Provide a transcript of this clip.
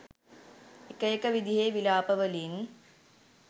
එක එක විදිහේ විලාප වලින්